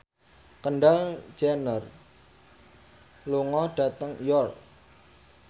Kendall Jenner lunga dhateng York